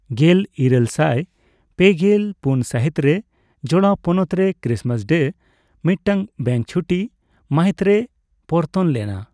ᱜᱮᱞ ᱤᱨᱟᱹᱞ ᱥᱟᱭ ᱯᱮᱜᱮᱞ ᱯᱩᱱ ᱥᱟᱹᱦᱤᱛᱨᱮ ᱡᱚᱲᱟᱣ ᱯᱚᱱᱚᱛᱨᱮ ᱠᱨᱤᱥᱢᱟᱥ ᱰᱮ ᱢᱤᱫᱴᱟᱝ ᱵᱮᱝᱠ ᱪᱷᱩᱴᱤ ᱢᱟᱹᱦᱤᱛᱨᱮ ᱯᱚᱨᱛᱚᱱ ᱞᱮᱱᱟ ᱾